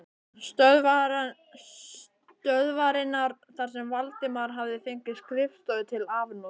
stöðvarinnar þar sem Valdimar hafði fengið skrifstofu til afnota.